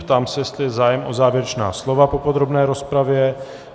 Ptám se, jestli je zájem o závěrečná slova po podrobné rozpravě.